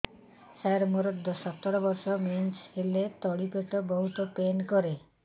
ସାର ମୋର ସତର ବର୍ଷ ମେନ୍ସେସ ହେଲେ ତଳି ପେଟ ବହୁତ ପେନ୍ କରେ